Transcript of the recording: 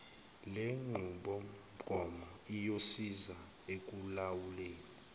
lenqubomgomo iyosiza ekulawuleni